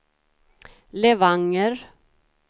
Levanger